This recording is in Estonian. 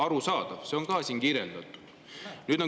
Arusaadav, seda on ka siin kirjeldatud.